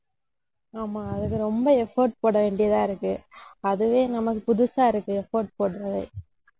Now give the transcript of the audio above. ஆமா அதுக்கு ரொம்ப effort போட வேண்டியதா இருக்கு. அதுவே நமக்குப் புதுசா இருக்கு effort போடுறது.